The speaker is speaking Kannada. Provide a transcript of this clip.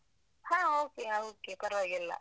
ಹ okay ಹ okay ಪರ್ವಾಗಿಲ್ಲ.